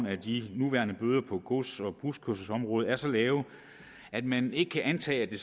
at de nuværende bøder på gods og buskørselsområdet er så lave at man ikke kan antage at det